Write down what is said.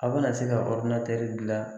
A be na se ka jilan